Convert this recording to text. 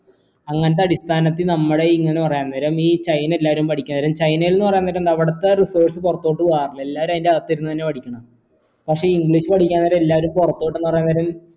അങ്ങനത്തെ അടിസ്ഥാനത്തിൽ നമ്മൾ ഇങ്ങനെ പറയാം അന്നേരം ഈ ചൈനയിലെ എല്ലാരും പഠിക്കാം ചൈനയിൽ നിന്ന് പറയുമ്പോൾ എന്താ അവിടത്തെ research പുറത്തോട്ട് പോകാറില്ല എല്ലാരും അയിന്റെ അകത്തിരുന്ന് തന്നെ പഠിക്കണെ പക്ഷെ english പഠിക്ക എല്ലാരും പുറത്തോട്ട് ന്ന് പറയാൻ